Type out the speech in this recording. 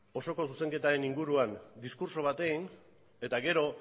osoko zuzenketaren inguruan diskurtso bat egin eta gero